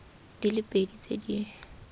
di le pedi tse di